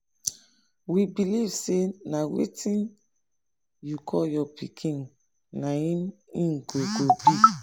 i give my um pikin the name i give am unto say he too disturb me for bele.